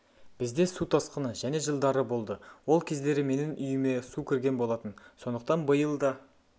бізде су тасқыны және жылдары болды ол кездері менің үйіме су кірген болатын сондықтан биыл да